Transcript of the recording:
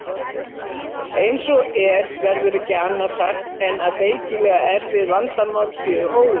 Eins og er verður ekki annað sagt en að feikilega erfið vandamál séu óleyst.